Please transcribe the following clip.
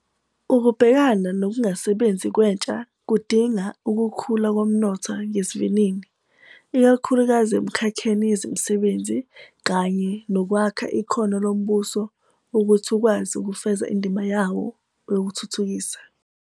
Ukubhekana nokungasebenzi kwentsha kudinga ukukhula komnotho ngesivinini, ikakhulukazi emikhakheni yezemisebenzi, kanye nokwakha ikhono lombuso ukuthi ukwazi ukufeza indima yawo yokuthuthukisa.